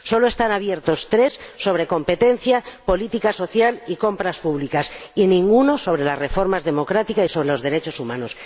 Solo están abiertos tres capítulos sobre competencia, política social y compras públicas, y ninguno sobre la reforma democrática y sobre los derechos humanos.